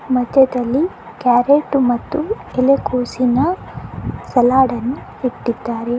ಮಧ್ಯದಲ್ಲಿ ಕ್ಯಾರೆಟ್ಟು ಮತ್ತು ಎಲೆಕೋಸಿನ ಸಲಾಡ್ನ್ನು ಇಟ್ಟಿದ್ದಾರೆ.